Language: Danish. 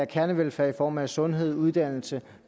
kernevelfærd i form af sundhed uddannelse